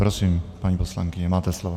Prosím, paní poslankyně, máte slovo.